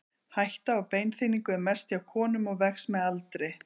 hætta á beinþynningu er mest hjá konum og vex með aldri